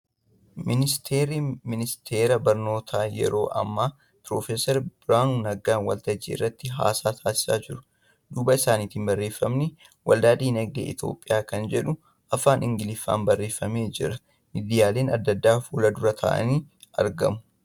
Ministarri ministara barnootaa yeroo ammaa Piroofeesar Birhaanuu Naggaa waltajjii irratti haasa'a taasisaa jiru. Duuba isaanitti barreeffamni ' Waldaa Diinagdee Itiyoophiyaa ' kan jedhu Afaan Ingiliffaan barreeffamee jira. Miidiyaaleen adda addaa fuuldura taa'anii argamu.